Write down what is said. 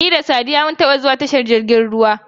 Ni da Saddiya mun taba zuwa tashar jirgin ruwa.